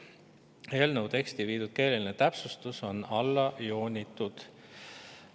Eelnõu teksti viidud keeleline täpsustus on alla joonitud.